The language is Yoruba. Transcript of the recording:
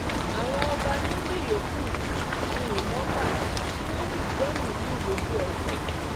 àwọn ọba méjì yòókù ni ìbọn bá tí wọ́n sì gbẹ̀mí-ín mi lójú-ẹsẹ̀